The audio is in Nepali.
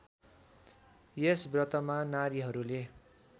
यस व्रतमा नारीहरूले